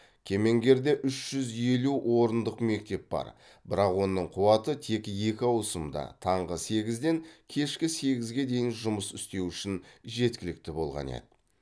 кемеңгерде үш жүз елу орындық мектеп бар бірақ оның қуаты тек екі ауысымда таңғы сегізден кешкі сегізге дейін жұмыс істеу үшін жеткілікті болған еді